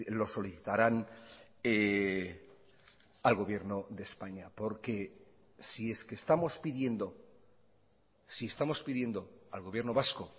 lo solicitarán al gobierno de españa porque si es que estamos pidiendo si estamos pidiendo al gobierno vasco